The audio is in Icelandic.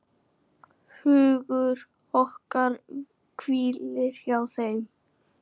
Hugur okkar hvílir hjá þeim.